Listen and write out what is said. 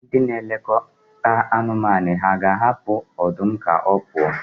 Ndị na-elekọta anụmanụ hà ga-ahapụ ọdụm ka ha pụọ?